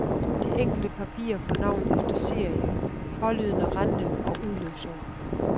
De enkelte papirer får navn efter serie, pålydende rente og udløbsår.